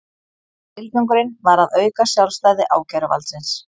Tilgangurinn var að auka sjálfstæði ákæruvaldsins